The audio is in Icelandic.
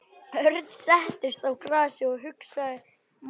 Örn settist í grasið og hugsaði málið.